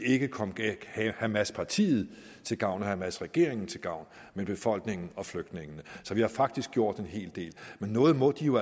ikke kom hamaspartiet til gavn og hamasregeringen til gavn men befolkningen og flygtningene så vi har faktisk gjort en hel del men noget må de jo